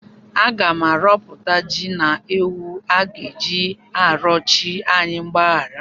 Aga m arọpụta ji na ewu a ga-eji arịọ chi anyị mgbahara.